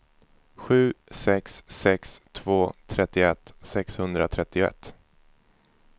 sju sex sex två trettioett sexhundratrettioett